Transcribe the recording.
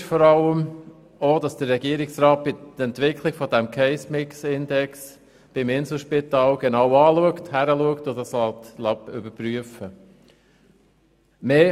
Wichtig ist vor allem auch, dass der Regierungsrat bei der Entwicklung des Case-Mix-Index beim Inselspital genau hinschaut und das überprüfen lässt.